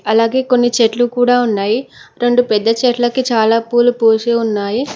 అలాగే కొన్ని చెట్లు కూడా ఉన్నాయి రెండు పెద్ద చెట్లకి చాలా పూలు పూసి ఉన్నాయి.